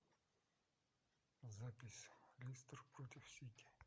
запись лестер против сити